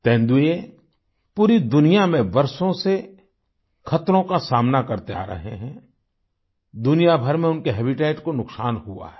तेंदुए पूरी दुनिया में वर्षों से खतरों का सामना करते आ रहे हैं दुनियाभर में उनके हैबिटेट को नुकसान हुआ है